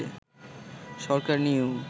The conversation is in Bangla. সরকার নিয়েও